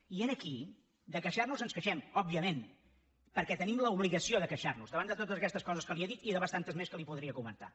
i aquí de queixarnos ens queixem òbviament perquè tenim l’obligació de queixarnos davant de totes aquestes coses que li he dit i de bastantes més que li podria comentar